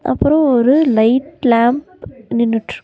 அப்றோ ஒரு light lamp நின்னுட்ருக்கு.